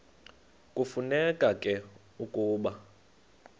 kufuneka ke ukuba